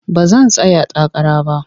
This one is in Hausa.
Ba zan tsaya takara ba.